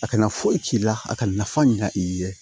A kana foyi k'i la a ka nafa ɲan i ye